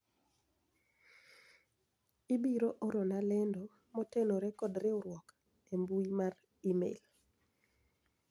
ibiro orona lendo motenore kod riwruok e mbui mar email